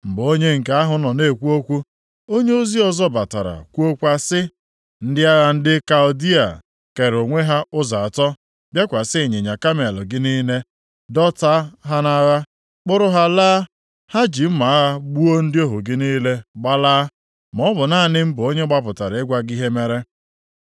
Mgbe onye nke ahụ nọ na-ekwu okwu, onyeozi ọzọ batara kwuokwa sị, “Ndị agha ndị Kaldịa + 1:17 Ha bụ ndị na-ebi nʼọzara Mesopotamịa, na-agagharị ịzụ ụmụ anụmanụ, ma mesie bụrụ ndị biiri nʼala Babilọn mee ka ọ ghọọ alaeze. kere onwe ha ụzọ atọ bịakwasị ịnyịnya kamel gị niile, dọta ha nʼagha, kpụrụ ha laa. Ha ji mma agha gbuo ndị ohu gị niile gbalaa. Ọ bụ naanị m bụ onye gbapụtara ịgwa gị ihe mere.”